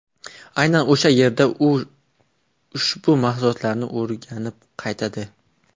Aynan o‘sha yerda u ushu asoslarini o‘rganib qaytadi.